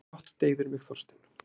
Brátt deyðir mig þorstinn.